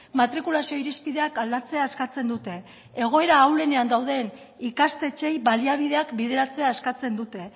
matrikulazio irizpideak aldatzea eskatzen dute egoera ahulenean dauden ikastetxeei baliabideak bideratzea eskatzen dute